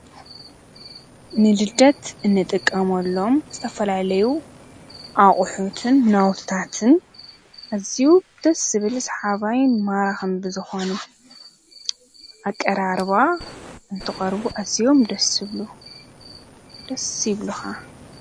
ንልደት ንጥቀመሎም ዝተፈላለዩ ኣቑሑትን ናውትታትን ኣዝዩ ደስ ዝብል ሰሓባይን ማራኽን ብዝኾኑ ኣቀራርባ እንትቐርቡ ኣዝዮም ደስ ዝብሉ ደስ ይብሉኻ።